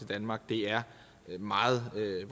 danmark er et meget meget